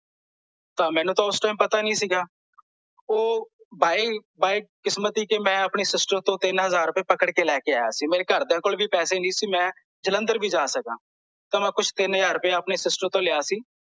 ਤਾਂ ਮੈਨੂੰ ਤਾਂ ਓਸ ਟਾਈਮ ਪਤਾ ਨਹੀਂ ਸੀਗਾ ਓਹ ਬਾਏ ਬਾਏ ਕਿਸਮਤ ਕੀ ਮੈਂ ਆਪਣੀ sister ਤੋਂ ਤਿੰਨ ਹਜ਼ਾਰ ਰੁਪਈਆ ਪਕੜ ਕੇ ਲੈ ਕੇ ਆਇਆ ਸੀ ਮੇਰੇ ਘਰਦਿਆਂ ਕੋਲ ਵੀ ਪੈਸੇ ਨਹੀਂ ਸੀ ਕੀ ਮੈਂ ਜਲੰਧਰ ਵੀ ਜਾ ਸਕਾਂ ਤਾਂ ਮੈਂ ਕੁਛ ਤਿੰਨ ਹਜ਼ਾਰ ਰੁਪਈਆ ਆਪਣੀ sister ਤੋਂ ਲਿਆ ਸੀ